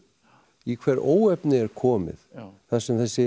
í hver óefni er komið þar sem þessi